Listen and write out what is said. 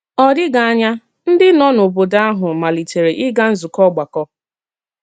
Ọ dịghị ànyà, ǹdí nọ n’ọ́bòdò ahụ malìtèrè ígà nzúkọ́ ọ̀gbàkọ́.